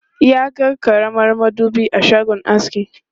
Ya ga karamar madubi a shagon askin.